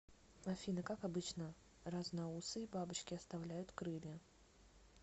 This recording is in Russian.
афина как обычно разноусые бабочки оставляют крылья